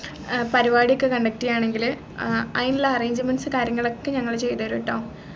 ഏർ പരിപാടിയൊക്കെ conduct ചെയ്യാണെങ്കിൽ ഏർ അയിനുള്ള arrangments കാര്യങ്ങളൊക്കെ ഞങ്ങൾ ചെയ്തതരുട്ടോ